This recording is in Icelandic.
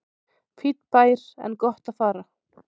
Fínn bær en gott að fara